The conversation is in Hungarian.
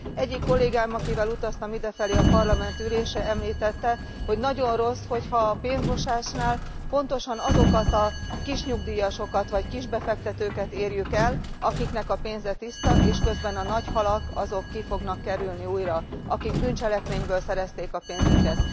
Egyik kollégám, akivel utaztam idefelé a parlamenti ülésre, említette, hogy nagyon rossz, ha a pénzmosásnál pontosan azokat a kisnyugdíjasokat vagy kisbefektetőket érjük el, akiknek a pénze tiszta, és közben a nagy halak ki fognak kerülni újra, akik bűncselekményből szerezték a pénzüket.